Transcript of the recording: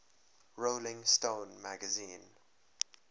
rolling stone magazine